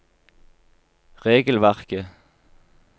regelverket